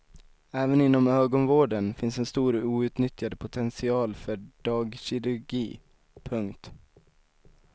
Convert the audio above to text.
Även inom ögonvården finns en stor outnyttjad potential för dagkirurgi. punkt